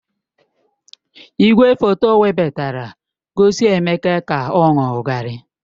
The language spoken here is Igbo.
Igwefoto webatara gosi Emeka ka ọ aṅụ garri.